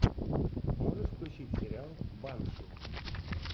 можешь включить сериал банши